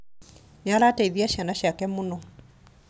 Nĩarateithia ciana ciake mũno